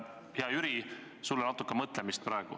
Hea Jüri, sul on praegu natuke mõtlemist.